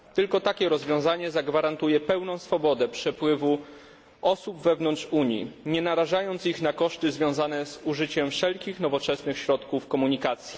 Tylko takie rozwiązanie zagwarantuje pełną swobodę przepływu osób wewnątrz Unii, nie narażając ich na koszty związane z użyciem wszelkich nowoczesnych środków komunikacji.